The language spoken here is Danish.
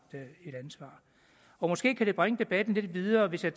et ansvar måske kan det bringe debatten lidt videre hvis jeg